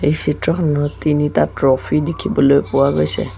এই চিত্ৰখনত তিনিটা ট্ৰফী দেখিবলৈ পোৱা গৈছে।